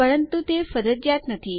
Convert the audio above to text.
પરંતુ તે ફરજિયાત નથી